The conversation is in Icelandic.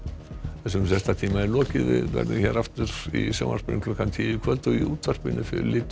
þessum fréttatíma er lokið við verðum hér aftur í sjónvarpi tíu í kvöld og í útvarpinu flytur